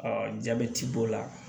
jabɛti b'o la